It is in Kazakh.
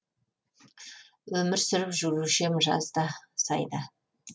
өмір сүріп жүруші ем жазда сайда